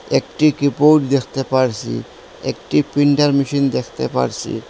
একটি কিবৌর্ড দেখতে পারসি একটি প্রিন্ডার মেশিন দেখতে পারসি।